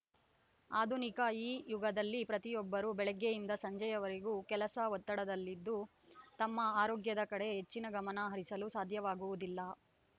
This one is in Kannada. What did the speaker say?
ಆಧುನಿಕ ಈ ಯುಗದಲ್ಲಿ ಪ್ರತಿಯೊಬ್ಬರು ಬೆಳಿಗ್ಗೆಯಿಂದ ಸಂಜೆಯವರೆಗೆ ಕೆಲಸದ ಒತ್ತಡದಲ್ಲಿದ್ದು ತಮ್ಮ ಆರೋಗ್ಯದ ಕಡೆ ಹೆಚ್ಚಿನ ಗಮನಹರಿಸಲು ಸಾಧ್ಯವಾಗುವುದಿಲ್ಲ